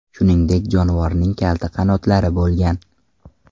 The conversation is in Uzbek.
Shuningdek, jonivorning kalta qanotlari ham bo‘lgan.